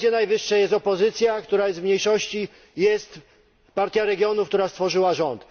W tej Radzie Najwyższej jest opozycja, która jest w mniejszości, jest Partia Regionów, która stworzyła rząd.